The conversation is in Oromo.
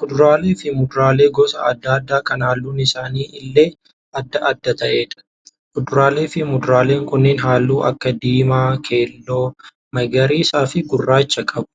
Kuduraalee fi muduraalee gosa adda addaa kan halluun isaanii illee adda adda ta'eedha. Kuduraalee fi muduraaleen kunneen halluu akka diimaa, keelloo, magariisaa fi gurraacha qabu.